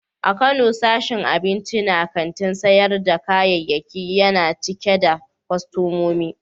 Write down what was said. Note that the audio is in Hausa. A Kano, sashin abinci na kantin sayar da kayayyaki yana cike da kwastomomi.